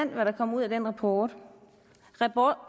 hvad der kom ud af den rapport